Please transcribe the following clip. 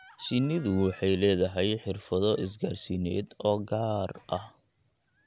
Shinnidu waxay leedahay xirfado isgaarsiineed oo gaar ah.